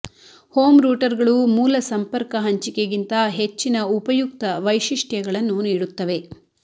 home ರೂಟರ್ಗಳು ಮೂಲ ಸಂಪರ್ಕ ಹಂಚಿಕೆಗಿಂತ ಹೆಚ್ಚಿನ ಉಪಯುಕ್ತ ವೈಶಿಷ್ಟ್ಯಗಳನ್ನು ನೀಡುತ್ತವೆ